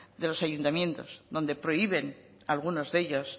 de los ayuntamientos donde prohíben algunos de ellos